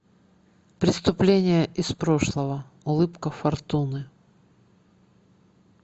преступление из прошлого улыбка фортуны